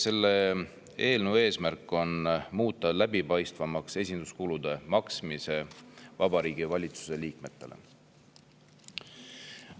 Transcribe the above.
Selle eelnõu eesmärk on muuta läbipaistvamaks esinduskulude maksmine Vabariigi Valitsuse liikmetele.